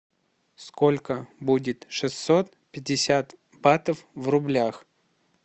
сколько будет шестьсот пятьдесят батов в рублях